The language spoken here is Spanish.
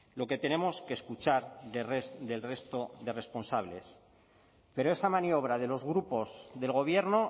lo que tenemos que escuchar del resto de responsables pero esa maniobra de los grupos del gobierno